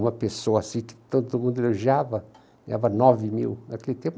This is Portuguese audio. Uma pessoa assim que todo mundo elogiava, ganhava nove mil naquele tempo.